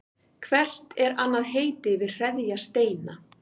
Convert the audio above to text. Hvert er annað heiti yfir hreðjarsteina?